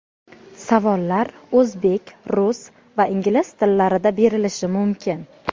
Savollar o‘zbek, rus va ingliz tillarida berilishi mumkin.